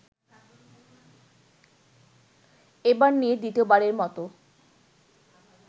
এবার নিয়ে দ্বিতীয়বারের মতো